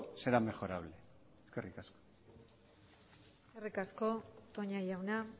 será mejorable eskerrik asko eskerrik asko toña jauna